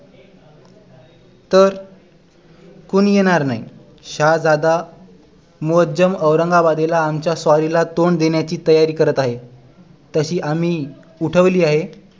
तर कोणी येणार नाही शहाजादा मूअज्जम औरंगाबादेला आमच्या स्वारीला तोंड देण्याची तयारी करत आहे तशी आम्ही उठवली आहे